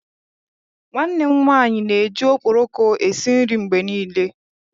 Nwanne m nwanyi n'eji okporoko esi nri mgbe nile